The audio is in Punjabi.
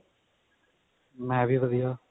ਮੈਂ ਵੀ ਵਧੀਆ